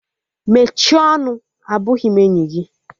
Mechie ọnụ! Abụghị m enyi gị!